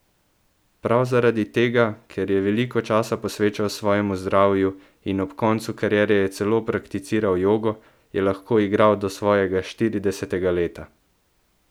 Prav zaradi tega, ker je veliko časa posvečal svojemu zdravju in ob koncu kariere je celo prakticiral jogo, je lahko igral do svojega štiridesetega leta.